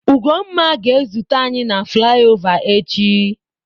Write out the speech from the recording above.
Ugonma ga-ezute anyi na flaiova echi.